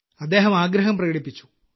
അദ്ദേഹം ആഗ്രഹം പ്രകടിപ്പിച്ചു